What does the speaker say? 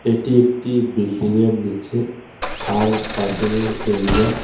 এটি একটি বিল্ডিংয়ের নীচে কার পার্কিংয়ের এরিয়া .